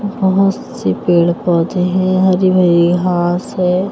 बहुत से पेड़-पौधे हैं हरी भरी घास है।